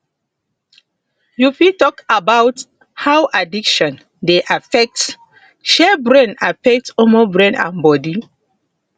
you fit talk about how addiction dey affect shey brain affect brain and body